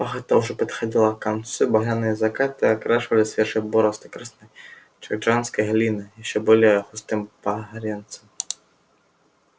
пахота уже подходила к концу и багряные закаты окрашивали свежие борозды красной джорджианской глины ещё более густым багрецом